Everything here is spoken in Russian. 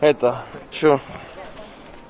это что